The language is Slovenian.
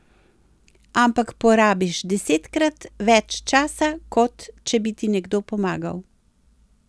Ampak porabiš desetkrat več časa, kot če bi ti nekdo pomagal.